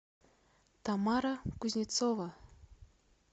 тамара кузнецова